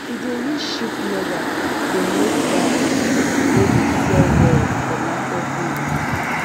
she dey use sheep leather dey make make bag wey de sell well for market days